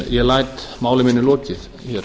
ég læt máli mínu lokið hér